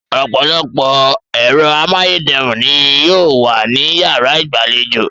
Ọ̀pọ̀lọpọ̀ ẹ̀rọ amáyédẹrùn ni yóò wà ní yàrá ìgbàlejò